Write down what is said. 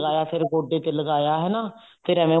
ਲਗਾਇਆ ਫੇਰ ਗੋਡੇ ਤੇ ਲਗਾਇਆ ਹਨਾ ਫੇਰ ਐਂਵੇ